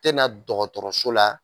Tena dɔgɔtɔrɔso la